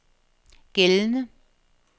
gældende